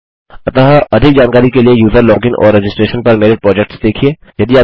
अतः अधिक जानकारी के लिए यूज़र लॉगिन और रजिस्ट्रेशन पर मेरे प्रोजेक्ट्स देखिये